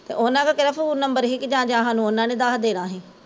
ਤੇ ਓਹਨਾਂ ਕੋਲ ਕਿਹੜਾ phone number ਸੀ ਕਿ ਜਾਂ ਜਾਂ ਸਾਨੂ ਓਹਨਾਂ ਨੇ ਦੱਸ ਦੇਣਾ ਸੀ